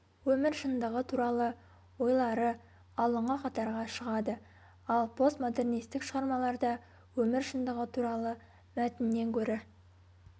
өмір шындығы туралы ойлары алдыңғы қатарға шығады ал постмодернистік шығармаларда өмір шындығы туралы мәтіннен гөрі